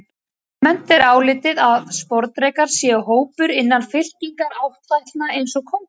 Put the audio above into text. Almennt er álitið að sporðdrekar séu hópur innan fylkingar áttfætlna eins og köngulær.